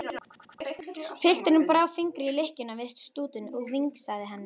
Pilturinn brá fingri í lykkjuna við stútinn og vingsaði henni.